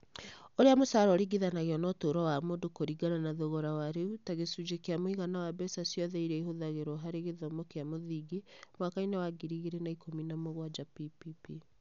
Ũrĩa mũcara ũringithanio na ũtũũro wa mũndũ kũringana na thogora wa rĩu, ta gĩcunjĩ kĩa mũigana wa mbeca ciothe iria ihũthagĩrũo harĩ gĩthomo kĩa mũthingi (mwaka –inĩ wa ngiri igĩrĩ na ikũmi na mũgwanja PPP).